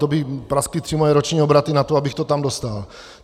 To by praskly tři moje roční obraty na to, abych to tam dostal.